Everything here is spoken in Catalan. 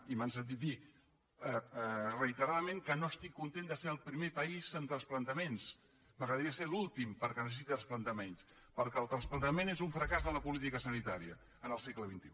i m’han sentit dir reiteradament que no estic content de ser el primer país en trasplantaments m’agradaria ser l’últim perquè necessita trasplantar menys perquè el trasplantament és un fracàs de la política sanitària en el segle xxi